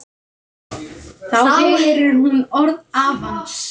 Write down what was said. Þá heyrir hún orð afans.